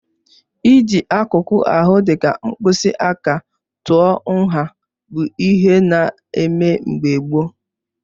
Ịji akụkụ ahụ dịka mkpịsị aka tụọ nha bụ ihe ana eme mgbe gboo.